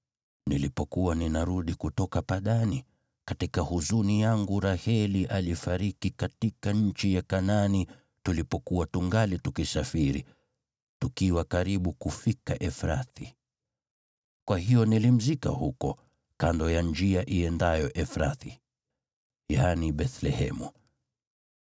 Nilipokuwa ninarudi kutoka Padani, katika huzuni yangu Raheli alifariki katika nchi ya Kanaani tulipokuwa tungali tukisafiri, tukiwa karibu kufika Efrathi. Kwa hiyo nilimzika huko, kando ya njia iendayo Efrathi” (yaani Bethlehemu).